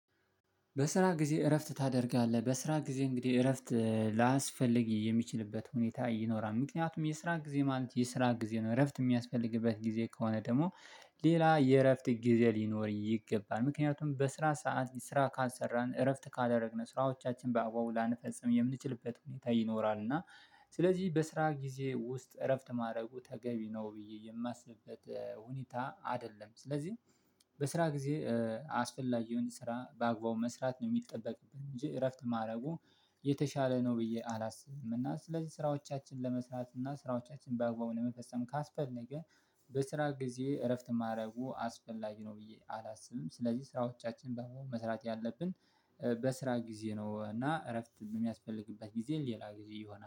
በስራ ጊዜ እረፍት ታደርጋለህ በስራ ጊዜ እንግዲህ እረፍት ላያስፈልግ የሚችልበት ሁኔታ ይኖራል ምክንያቱም የስራ ጊዜ ማለት የስራ ጊዜ ነው እረፍት የሚያስፈልግበት ጊዜ ከሆነ ደግሞ ሌላ የእረፍት ጊዜ ሊኖር ይገባል ምክንያቱም በስራ ሰዓት ስራ ካሰራን እረፍት ካደረግን ስራዎቻችን በአግባቡ ላንፈጽም የምንችልበት ሁኔታ ይኖራል እና ስለዚህ በስራ ጊዜ ውስጥ እረፍት ማድረጉ ተገቢ ነው ብዬ የማስብበት ሁኔታ አይደለም። ስለዚህ በስራ ጊዜ እ አስፈላጊውን ስራ በአግባቡ መስራት ነው የሚጠበቅብን እንጂ እረፍት ማድረጉ የተሻለ ነው ብዬ አላስብም። እና ስለዚህ ስራዎቻችን ለመስራት እና ስራዎቻችን በአግባቡ ለመፈጸም ካስፈለገ በስራ ጊዜ እረፍት ማድረጉ አስፈላጊ ነው ብዬ አላስብም። ስለዚህ ስራዎቻችን በ መስራት ያለብን በስራ ጊዜ ነው እና እረፍት በሚያስፈልግበት ጊዜን ሌላ ጊዜ ይሆናል